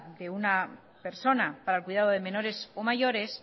de una persona para el cuidado de menores o mayores